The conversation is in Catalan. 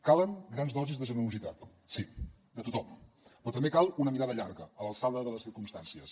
calen grans dosis de generositat sí de tothom però també cal una mirada llarga a l’alçada de les circumstàncies